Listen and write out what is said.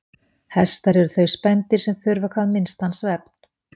Hestar eru þau spendýr sem þurfa hvað minnstan svefn.